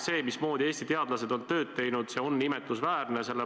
See, mismoodi Eesti teadlased on tööd teinud, on imetlusväärne.